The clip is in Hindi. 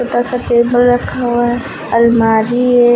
ऐसा टेबल रखा हुआ है अलमारी है।